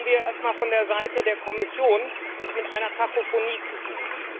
Da haben wir es erst einmal von der Seite der Kommission mit einer Kakophonie zu tun.